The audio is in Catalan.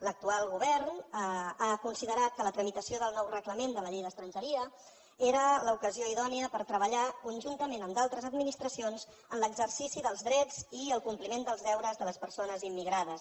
l’actual govern ha considerat que la tramitació del nou reglament de la llei d’estrangeria era l’ocasió idònia per treballar conjuntament amb d’altres administracions en l’exercici dels drets i el compliment dels deures de les persones immigrades